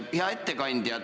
Hea ettekandja!